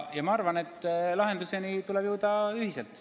Ja lahenduseni tuleb jõuda ühiselt.